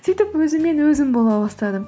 сөйтіп өзімен өзім бола бастадым